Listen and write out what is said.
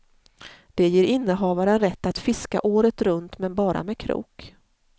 Det ger innehavaren rätt att fiska året runt men bara med krok.